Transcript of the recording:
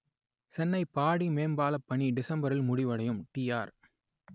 சென்னை பாடி மேம்பாலப் பணி டிசம்ப‌ரி‌ல் முடிவடையும் டிஆர்